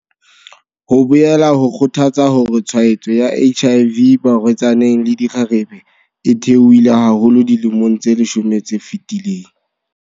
Ho boela ho kgothatsa hore tshwaetso ya HIV barwetsaneng le dikgarebe e theohile haholo dilemong tse leshome tse fetileng.